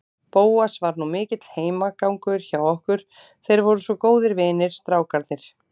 Bóas var nú mikill heimagangur hjá okkur, þeir voru svo góðir vinir, strákarnir.